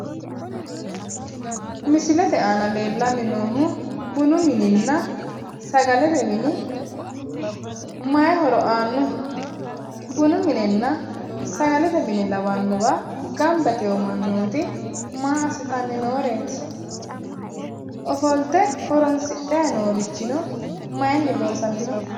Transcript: Misilete aana leellanni noohu bunu mininna sagalete mini mayi horo aannoho? Bunu mininna sagalete mine lawannowa gamba yitiwo mannooti maa assitayi nooreeti? Ofolte horoonsidhayi noorichino mayinni loosamiwoho?